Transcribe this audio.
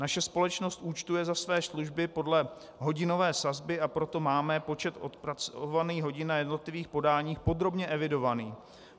Naše společnost účtuje za své služby podle hodinové sazby, a proto máme počet odpracovaných hodin na jednotlivých podáních podrobně evidovaný.